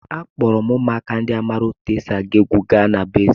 Akpọọrọ m ụmụaka ndị ahụ maara otú e si agụ egwu gaa na be eze.